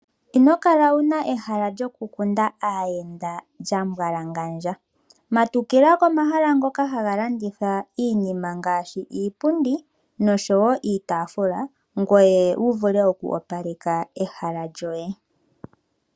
Ino kala wu na ehala lyokukundila aayenda lya mbwalangandja. Matukila komahala ngoka haga landitha iinima ngaashi iipundi noshowo iitaafula ngoye wu vule oku opaleka ehala lyoye.